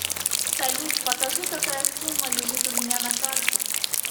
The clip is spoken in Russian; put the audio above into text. салют покажи какая сумма лежит у меня на карте